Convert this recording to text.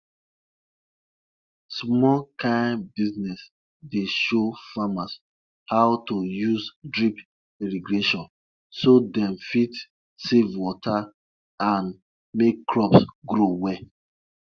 bat wey fly enter inside house them no dey kill am - na escort them go escort am comot for house with respect.